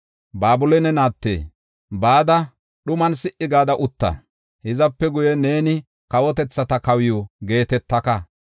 “Babiloone naatte, bada dhuman si77i gada utta; Hizape guye neeni kawotethata kawiw geetetaka.